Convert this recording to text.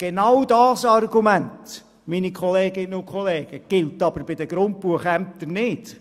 Genau dieses Argument gilt aber bei den Grundbuchämtern nicht.